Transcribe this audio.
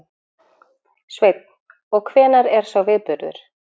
Sveinn: Og hvenær er sá viðburður?